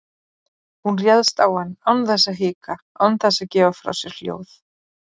Hún réðst á hann án þess að hika, án þess að gefa frá sér hljóð.